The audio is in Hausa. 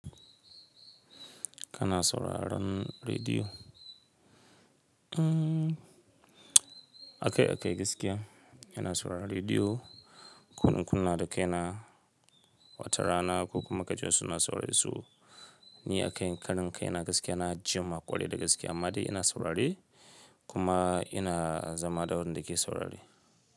Kana sauraron rediyo? Akaikai gaskiya ina saurara rediyo. Ko in kunna da kai na, wata rana ko kuma ka ji su na sauraren su. Ni a kan kanin kai, ina gaskiya na ji maƙwaɗi da gaskiya, amma dai ina saurari kuma ina zama da wanda ke saurari.